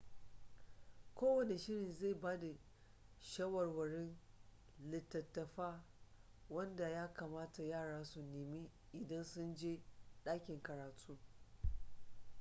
kowane shirin zai ba da shawarwarin littattafa wanda ya kamata yara su nema idan sun je ɗakin karatu